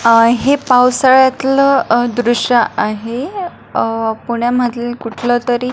अ हे पावसाळ्यातल अ दृश आहे अ पुण्यामधील कुठलतरी.